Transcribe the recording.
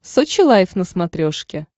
сочи лайв на смотрешке